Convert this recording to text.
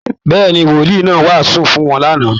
Bẹ́ẹ̀́ ni, Wolìí náà wàásù fún wọn lánàá